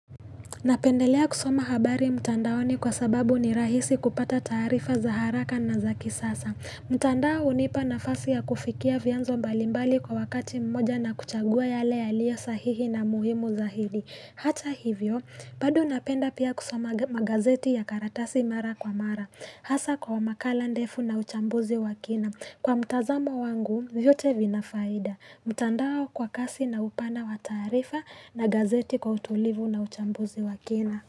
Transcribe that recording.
Napendelea kusoma habari mtandaoni kwa sababu ni rahisi kupata tAarifa za haraka na za kisasa. Mtandao hunipa nafasi ya kufikia vyanzo mbalimbali kwa wakati mmoja na kuchagua yale yaliyo sahihi na muhimu zahidi. Hata hivyo, bado napenda pia kusoma magazeti ya karatasi mara kwa mara. Hasa kwa makala ndefu na uchambuzi wa kina. Kwa mtazamo wangu, vyote vina faida. Mtandaaa kwa kasi na upana wa taarifa na gazeti kwa utulivu na uchambuzi wa kina.